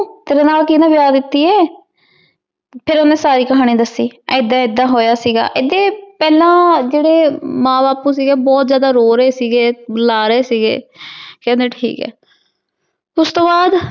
ਤੇਰੀ ਨਾਲ ਕੀਨੀ ਵਿਯਾਹ ਦਿਤੀ ਆਯ ਫੇਰ ਓਹਨੇ ਸਾਰੀ ਕਹਾਨੀ ਦਾਸੀ ਏਦਾਂ ਏਦਾਂ ਹੋਯਾ ਸੀਗਾ ਅਗੇ ਪਹਲੋੰ ਜੇਟ੍ਰੀ ਮਾਂ ਬਾਪੁ ਸੀਗੇ ਬੋਹਤ ਜਿਆਦਾ ਰੋ ਰਹੀ ਸੀਗੇ ਬੁਲਾ ਰਹੀ ਸੀਗੇ ਓਸ ਤੋਂ ਬਾਅਦ